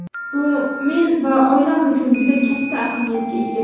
Bu men va oilam uchun juda katta ahamiyatga ega.